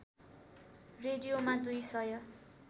रेडियोमा दुई सय